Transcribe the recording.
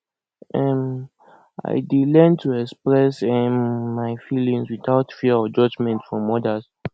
um i dey learn to express um my feelings without fear of judgment from others